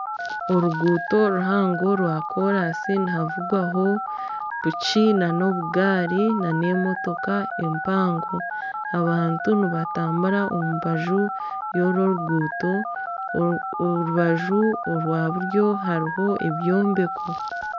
Oruguuto ruhango rwa koransi nihavugwaho piki n'obugari n'emotoka empango. Abantu nibatambura omu mbaju yoru oruguuto orubaju orwa buryo hariho ebyombeko.